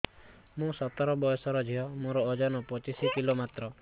ମୁଁ ସତର ବୟସର ଝିଅ ମୋର ଓଜନ ପଚିଶି କିଲୋ ମାତ୍ର